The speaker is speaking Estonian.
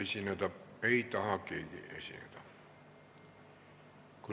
Keegi ei taha esineda.